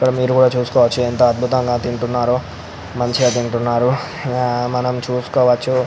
ఇక్కడ మీరు కూడా చూసుకోవచ్చు ఎంత అత్భుతంగా తింటున్నారో మంచిగా తింటున్నారు హ మనం చూసుకోవచ్చు.